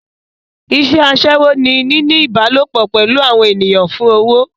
Iṣẹ́ aṣẹ́wó ni níní ìbálòpò pẹ̀lú àwọn ènìyàn fún owó.